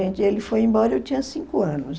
ele foi embora, eu tinha cinco anos.